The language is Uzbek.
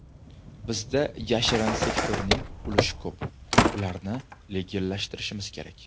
Bizda yashirin sektorning ulushi ko‘p, ularni legallashtirishimiz kerak.